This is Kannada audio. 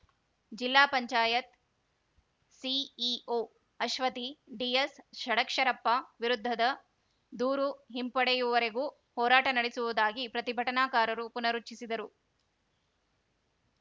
ಜಿಲ್ಲಾ ಪಂಚಾಯತ್ ಸಿಇಓ ಅಶ್ವತಿ ಡಿಎಸ್‌ ಷಡಕ್ಷರಪ್ಪ ವಿರುದ್ಧದ ದೂರು ಹಿಂಪಡೆಯುವವರೆಗೂ ಹೋರಾಟ ನಡೆಸುವುದಾಗಿ ಪ್ರತಿಭಟನಾಕಾರರು ಪುನರುಚ್ಚರಿಸಿದರು